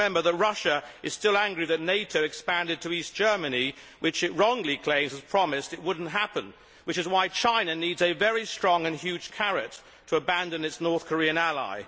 must remember that Russia is still angry that NATO expanded to East Germany, which it wrongly claimed was promised would not happen, which is why China needs a very strong and huge carrot to abandon its North Korean ally.